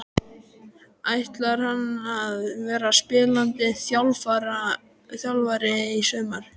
Ætlar hann að vera spilandi þjálfari í sumar?